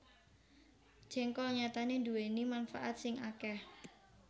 Jéngkol nyatané nduwèni manfaat sing akèh